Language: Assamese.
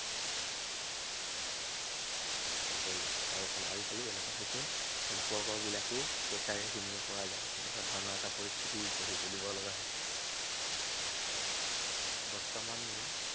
চাকৰি, আৰু আজিকালি এনেকুৱা হৈছে, সম্পৰ্ক বিলাকো পইচাৰেহে কিনিব পৰা যায়। এনেকুৱা ধৰণৰ এটা পৰিস্থিতি গঢ়ি তুলিব লগা হৈছে। বৰ্তমান